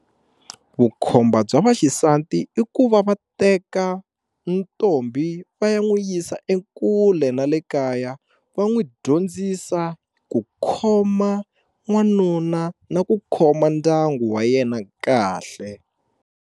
Vukhomba bya vaxisati i ku va va teka ntombi va ya n'wu yisa ekule na le kaya va n'wi dyondzisa ku khoma n'wanuna na ku khoma ndyangu wa yena kahle.